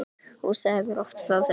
Hún sagði mér oft frá þessu.